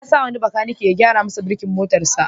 Ya sa wani bakanike ya gyara masa burkin motarsa.